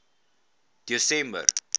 desember